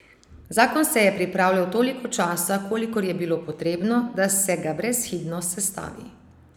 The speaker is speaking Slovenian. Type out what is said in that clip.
Zakon se je pripravljal toliko časa, kolikor je bilo potrebno, da se ga brezhibno sestavi.